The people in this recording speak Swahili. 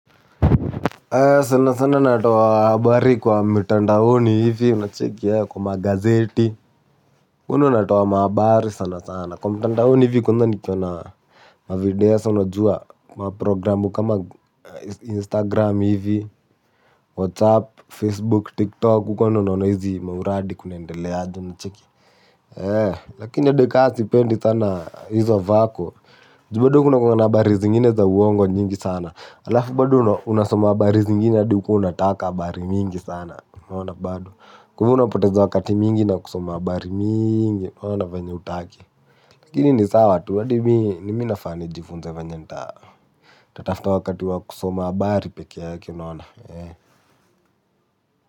Sana sana natoa habari kwa mtandaoni hivi unacheki kwa magazeti. Uko ndio natoa mahabari sana sana kwa mtandaoni hivi kwanza nikiona mavideo sa unajua maprogramu kama instagram hivi, whatsapp, facebook, tiktok uko ndio naona hizi mauradi kunaendeleaje unacheki ee lakini hadi ka sipendi sana hizo vako juu bado kunakuwa na habari zingine za uongo nyingi sana alafu bado unasoma habari zingine hadi hukuwa unataka habari mingi sana unaona bado kwa hivyo unapoteza wakati mingi na kusoma habari mingi na venye hutaki lakini ni sawa tu hadi mi ni mi nafaa nijifunze venye nita nitatafuta wakati wa kusoma habari peke yake unaona ee.